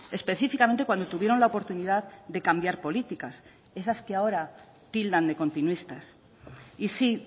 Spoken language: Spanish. específicamente cuando tuvieron la oportunidad de cambiar políticas esas que ahora tildan de continuistas y sí